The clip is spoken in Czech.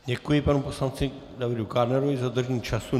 Děkuji panu poslanci Davidu Kádnerovi za dodržení času.